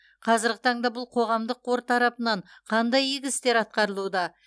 қазіргі таңда бұл қоғамдық қор тарапынан қандай игі істер атқарылуда